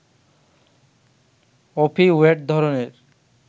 opioid ধরনের